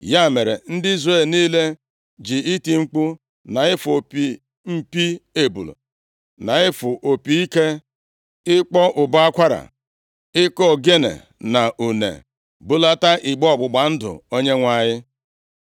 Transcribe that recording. Ya mere, ndị Izrel niile ji iti mkpu, na-ịfụ opi mpi ebule na-ịfụ opi ike, ịkpọ ụbọ akwara, ịkụ ogene na une, bulata igbe ọgbụgba ndụ Onyenwe anyị.